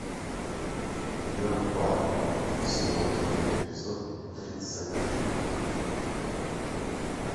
ен паль сезон три эпизод тридцать три